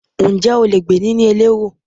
Ǹjẹ́ o lè gbé ní ilé elérò?